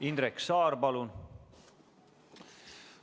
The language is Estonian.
Indrek Saar, palun!